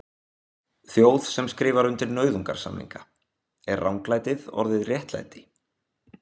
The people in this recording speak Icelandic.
Þjóð sem skrifar undir nauðungarsamninga, er ranglætið orðið réttlæti?